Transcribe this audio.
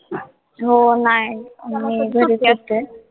हो, नाय मी घरीच होते.